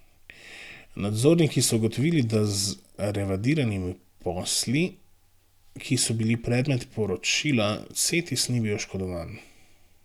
Nadzorniki so ugotovili, da z revidiranimi posli, ki so bili predmet poročila, Cetis ni bil oškodovan.